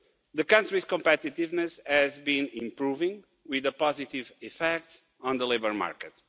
The country's competitiveness has been improving, with a positive effect on the labour market.